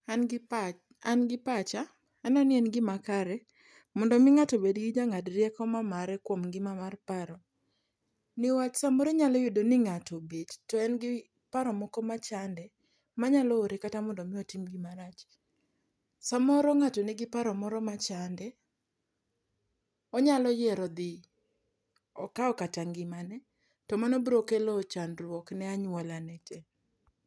An gi pacha, aneno ni en gimakare mondo omi ng'ato obedgi jang'ad rieko mamare kuom ngima mar paro. Niwach samoro inyalo yudo ni ng'ato obet to en gi paro moko machande, manyalo ore kata mondo omi otim gima rach. Samoro ng'ato nigi paro moro machande, onyalo yiero dhi okaw kata ngimane, to mano bro kelo chandruok ne anyuolane tee.